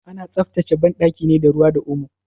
Ana tsaftace banɗaki ne da ruwa da omo.